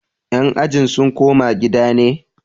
yan ajin sun koma gida ne?